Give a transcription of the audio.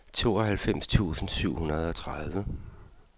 tooghalvfems tusind syv hundrede og tredive